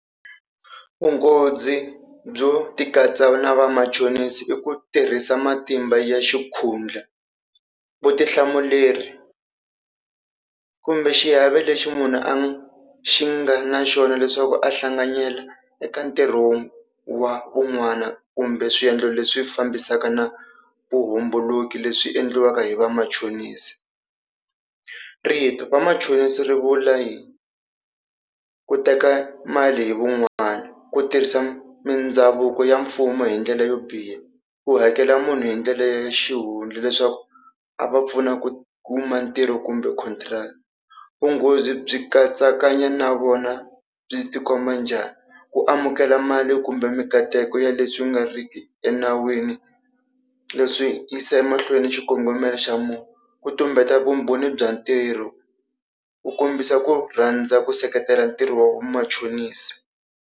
Vunghozi byo tikatsa na vamachonisi i ku tirhisa matimba ya xikhundla, vutihlamuleri kumbe xiave lexi munhu a xi nga na xona leswaku a hlanganyela eka ntirho wa vun'wana kumbe swiendlo leswi fambisaka na vuhumbuluki leswi endliwaka hi vamachonisi. Rito vamachonisi ri vula yini, ku teka mali hi van'wana, ku tirhisa mindhavuko ya mfumo hi ndlela yo biha, ku hakela munhu hi ndlela ya xihundla leswaku a va pfuna ku kuma ntirho kumbe contract. Vunghozi byi katsakanya na vona byi tikomba njhani, ku amukela mali kumbe mikateko ya leswi nga riki enawini. Leswi swi yisa emahlweni xikongomelo xa munhu, ku tumbeta vumbhoni bya ntirho, ku kombisa ku rhandza ku seketela ntirho wa vumachonisi.